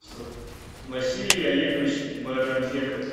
василий олегович байрамбеков